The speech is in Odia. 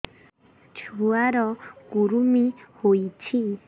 ଛୁଆ ର କୁରୁମି ହୋଇଛି